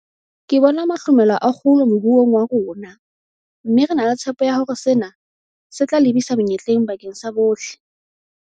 Ke bona mahlomela a kgolo moruong wa rona, mme re na le tshepo ya hore sena se tla lebisa menyetleng bakeng sa bohle.